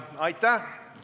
Istung on lõppenud.